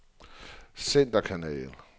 centerkanal